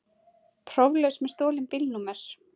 Próflaus með stolin bílnúmer